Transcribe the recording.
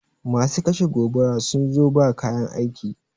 Masu kashe gobara sun zo ba kayan aiki